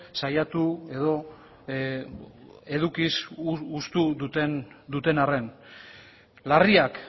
saiatu edo edukiz hustu duten arren larriak